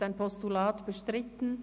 Ist das Postulat bestritten?